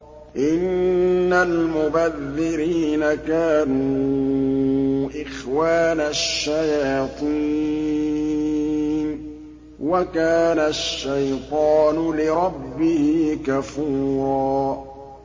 إِنَّ الْمُبَذِّرِينَ كَانُوا إِخْوَانَ الشَّيَاطِينِ ۖ وَكَانَ الشَّيْطَانُ لِرَبِّهِ كَفُورًا